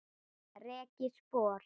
Rek ég spor.